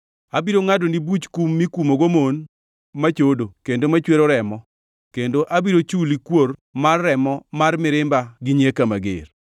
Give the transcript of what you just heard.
Abiro ngʼadoni buch kum mikumogo mon machodo kendo machwero remo, kendo abiro chuli kuor mar remo mar mirimba gi nyieka mager.